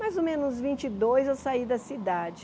Mais ou menos vinte e dois eu saí da cidade.